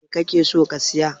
Me kake so ka siya?